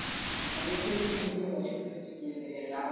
அந்த கேள்வியா நீ போய் wife கிட்ட